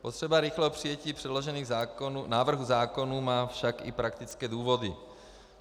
Potřeba rychlého přijetí předložených návrhů zákonů má však i praktické důvody.